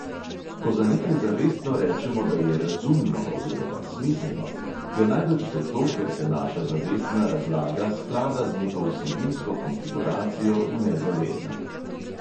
Ko za nekaj zavestno rečemo, da je "razumno" oziroma "smiselno", je najbrž zato, ker se naša zavestna razlaga sklada z neko vsebinsko konfiguracijo v nezavednem.